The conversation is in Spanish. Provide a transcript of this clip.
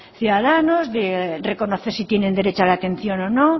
ciudadanos de reconocer si tienen derecho a la atención o no